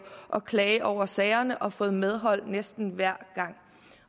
at klage over sagerne og fået medhold næsten hver gang